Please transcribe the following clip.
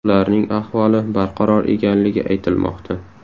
Ularning ahvoli barqaror ekanligi aytilmoqda.